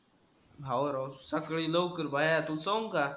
अहो राव सकाळी लवकर बाहेर तुला सांगू का?